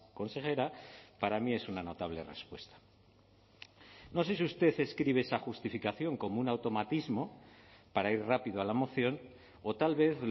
consejera para mí es una notable respuesta no sé si usted escribe esa justificación como un automatismo para ir rápido a la moción o tal vez